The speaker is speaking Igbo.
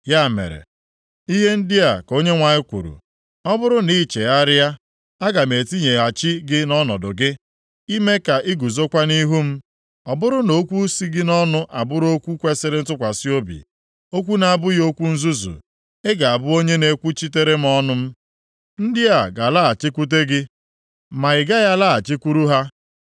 Ya mere, ihe ndị a ka Onyenwe anyị kwuru, “Ọ bụrụ na i chegharịa, aga m etinyeghachi gị nʼọnọdụ gị, ime ka i guzokwa nʼihu m. Ọ bụrụ na okwu si gị nʼọnụ abụrụ okwu kwesiri ntụkwasị obi, okwu na-abụghị okwu nzuzu ị ga-abụ onye na-ekwuchitere m ọnụ m. Ndị a ga-alaghachikwute gị ma i gaghị alaghachikwuru ha.